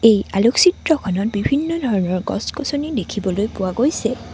এই আলোকচিত্ৰখনত বিভিন্ন ধৰণৰ গছ-গছনি দেখিবলৈ পোৱা গৈছে।